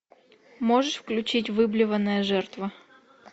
можешь включить выблеванная жертва